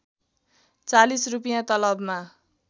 ४० रूपियाँ तलबमा